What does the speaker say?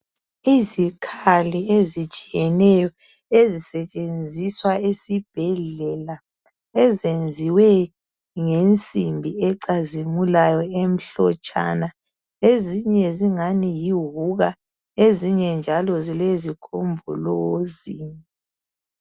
Izikhali ezitshiyeneyo ezisetshenziswa esibhedlela, ezenziwe ngensimbi ecazimulayo emhlotshana. Ezinye zingani yihuka, ezinye njalo zilezigombolozi.